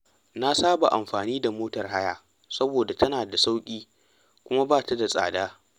Na saba amfani da motar haya saboda tana da sauƙi kuma ba ta da tsada.